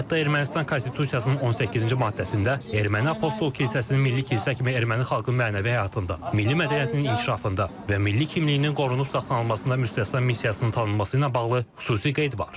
Hətta Ermənistan konstitusiyasının 18-ci maddəsində erməni apostol kilsəsinin milli kilsə kimi erməni xalqının mənəvi həyatında, milli mədəniyyətinin inkişafında və milli kimliyinin qorunub saxlanılmasında müstəsna missiyasının tanınması ilə bağlı xüsusi qeyd var.